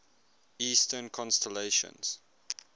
eastern constellations